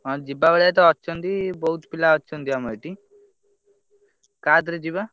ହଁ ଯିବା ଭଳିଆ ତ ଅଛନ୍ତି ବହୁତ ପିଲା ଅଛନ୍ତି ଆମ ଏଠି କାଧରେ ଯିବା?